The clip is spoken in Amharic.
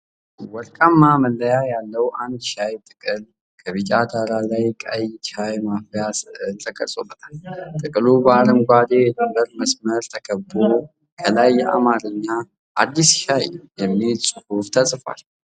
ወርቃማ መለያ ያለው አዲስ ሻይ ጥቅል ከቢጫ ዳራ ላይ ቀይ ሻይ ማፍያ ስዕል ተቀርጾበታል። ጥቅሉ በአረንጓዴ የድንበር መስመር ተከቦ፣ ከላይ በአማርኛ "አዲስ ሻይ" የሚል ጽሑፍ ተጽፏል።